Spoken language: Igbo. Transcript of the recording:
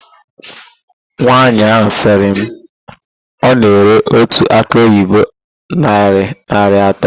Nwaanyị ahụ sịrị na ọ na-ere otu akị oyibo narị naịra atọ.